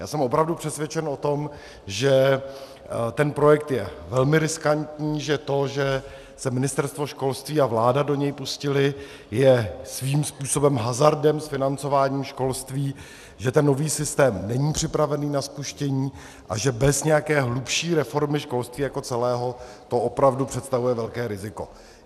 Já jsem opravdu přesvědčen o tom, že ten projekt je velmi riskantní, že to, že se Ministerstvo školství a vláda do něj pustily, je svým způsobem hazardem s financováním školství, že ten nový systém není připravený na spuštění a že bez nějaké hlubší reformy školství jako celého to opravdu představuje velké riziko.